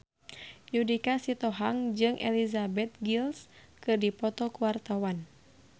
Judika Sitohang jeung Elizabeth Gillies keur dipoto ku wartawan